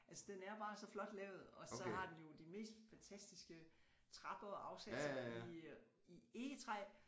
Altså den er bare så flot lavet og så har den jo de mest fantastiske trapper og afsatser i øh i egetræ